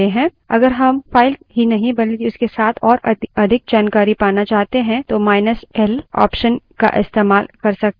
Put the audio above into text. अगर हम file ही नहीं बल्कि उसके साथ और अधिक जानकारी पाना चाहते हैं तो माईनस l option का इस्तेमाल कर सकते हैं